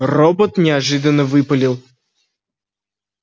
робот неожиданно выпалил